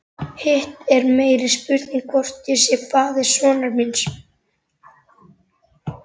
Hitt er meiri spurning hvort ég sé faðir sonar míns.